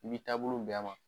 I b'i taabolo bɛn a ma.